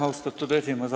Austatud esimees!